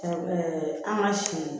an ka si